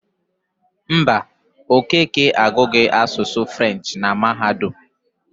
Mba, Okeke agụghị asụsụ Frenchị na mahadum.